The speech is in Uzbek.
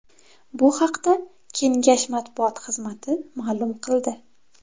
Bu haqda Kengash matbuot xizmati ma’lum qildi .